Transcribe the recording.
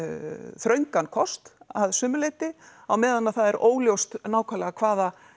þröngan kost að sumu leiti á meðan að það er óljóst nákvæmlega hvaða